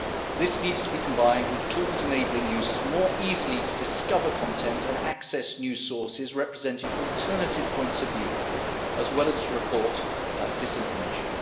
This needs to be combined with tools enabling users more easily to discover content and access new sources representing alternative points of view, as well as to report disinformation.